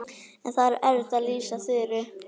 En það er erfitt að lýsa Þuru.